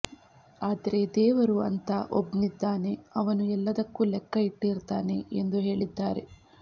ಆದ್ರೆ ದೇವರು ಅಂತಾ ಒಬ್ನಿದ್ದಾನೆ ಅವನು ಎಲ್ಲದಕ್ಕೂ ಲೆಕ್ಕ ಇಟ್ಟಿರ್ತಾನೆ ಎಂದು ಹೇಳಿದ್ದಾರೆ